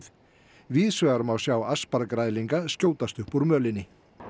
víðsvegar má sjá skjótast upp úr mölinni